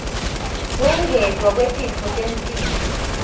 kwengetwa kwetitfo temtimba